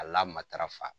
A lamatara fa